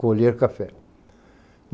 Colher, café.